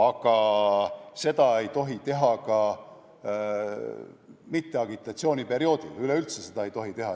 Aga seda ei tohi teha ka mitteagitatsiooniperioodil, üleüldse ei tohi seda teha.